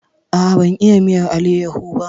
A'a, ban iya miyar aleho ba.